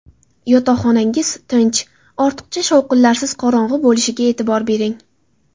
Yotoqxonangiz tinch, ortiqcha shovqinlarsiz, qorong‘i bo‘lishiga e’tibor bering.